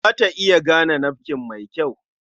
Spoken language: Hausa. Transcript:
Za ta iya gane nafkin mai kyau.